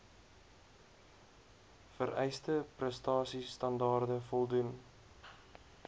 vereiste prestasiestandaarde voldoen